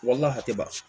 Walima hakɛ ban